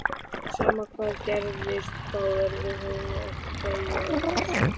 Sama hvað gerðist, þá yrði hún að þegja yfir þessu.